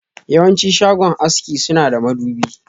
Yawanci shagon haski suna da madubi.